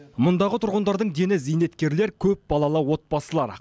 мұндағы тұрғындардың дені зейнеткерлер көпбалалы отбасылар